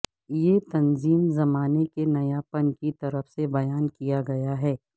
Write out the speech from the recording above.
یہ تنظیم زمانے کے نیاپن کی طرف سے بیان کیا گیا تھا